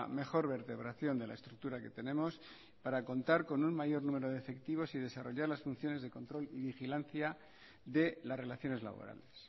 mejor vertebración de la estructura que tenemos para contar con un mayor número de efectivos y desarrollar las funciones de control y vigilancia de las relaciones laborales